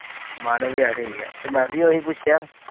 ਮਾਨਵ ਤੇ ਮੈ ਵੀ ਉਹੀ ਪੁਛਿਆ